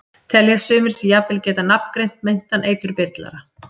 Telja sumir sig jafnvel geta nafngreint meintan eiturbyrlara.